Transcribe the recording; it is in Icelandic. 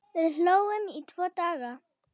Við hlógum í tvo daga.